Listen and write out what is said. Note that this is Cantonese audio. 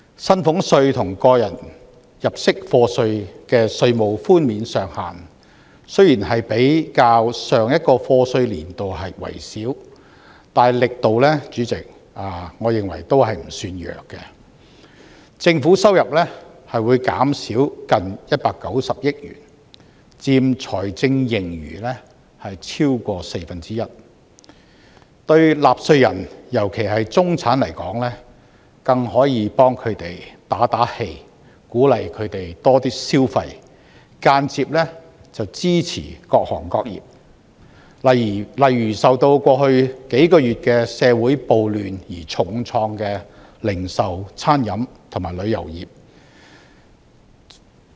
薪俸稅和個人入息課稅的稅務寬免上限雖然比較上一個課稅年度為少，但主席，我認為力度不算弱，政府收入會減少近190億元，佔財政盈餘超過四分之一，對納稅人——尤其是中產來說，更可以為他們打氣，鼓勵他們多些消費，間接支持各行各業，例如受到過去數個月社會暴亂而重創的零售、餐飲和旅遊業。